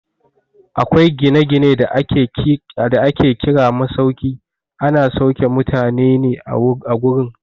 Akwai gina-gine da ake kira masauki, ana sauke mutane ne a gurin.